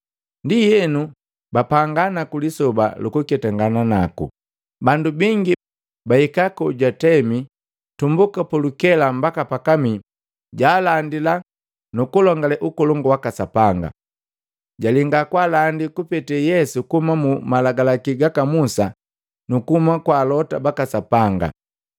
Ndienu bapanga naku lisoba lukuketangana naku, bandu bingi bahika kojutamika tumbuka pulukela mbaka pakamii jaalandila nukulongale Ukolongu waka Sapanga, jalenga kwaalandi kupete Yesu kuhuma mu malagalaki gaka Musa nuku kuhuma kwa Alota baka Sapanga.